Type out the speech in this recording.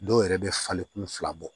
Dɔw yɛrɛ bɛ falen kun fila bɔ